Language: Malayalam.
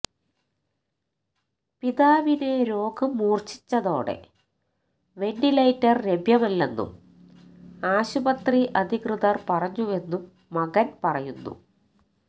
പിതാവിന് രോഗം മൂര്ച്ഛിച്ചതോടെ വെന്റിലേറ്റര് ലഭ്യമല്ലെന്നും ആശുപത്രി അധികൃതര് പറഞ്ഞുവെന്നും മകന് പറയുന്നു